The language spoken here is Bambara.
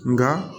Nka